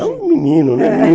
É um menino, né? é, é